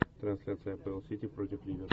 трансляция апл сити против ливер